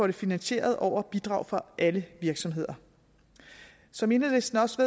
det finansieret over bidrag fra alle virksomheder som enhedslisten også